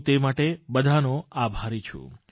હું તે માટે બધાનો આભારી છું